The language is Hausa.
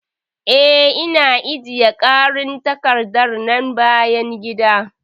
Ee, Ina ajiye ƙarin takardar bayan gida.